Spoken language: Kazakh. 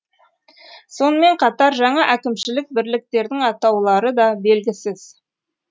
сонымен қатар жаңа әкімшілік бірліктердің атаулары да белгісіз